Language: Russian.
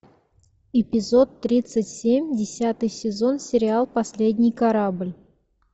эпизод тридцать семь десятый сезон сериал последний корабль